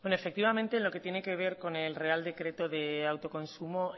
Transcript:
efectivamente en lo que tiene que ver con el real decreto de autoconsumo